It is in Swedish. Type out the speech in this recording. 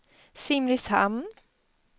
Simrishamn